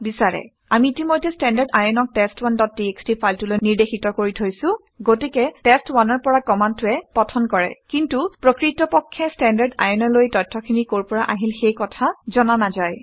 আমি ইতিমধ্যে standardin ক টেষ্ট1 ডট টিএক্সটি ফাইলটোলৈ নিৰ্দেশিত কৰি থৈছোঁ গতিকে টেষ্ট ১ টেষ্ট1 ৰ পৰা কামাণ্ডটোৱে অধ্যয়ন পঠন কৰে কিন্তু প্ৰকৃতপক্ষে standardin অলৈ তথ্যখিনি কৰ পৰা আহিল সেই কথা জনা নাযায়